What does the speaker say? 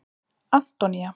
Antonía